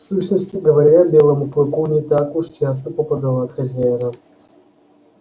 в сущности говоря белому клыку не так уж часто попадало от хозяина